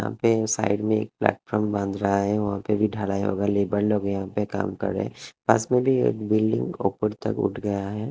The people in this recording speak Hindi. यहाँ पे साइड में एक प्लेटफार्म बांध रहा है वहाँ पे भी ढलाई होगा लेबर लोग यहाँ पे काम कर रहे हैं पास में भी एक बिल्डिंग ऊपर तक उठ गया है।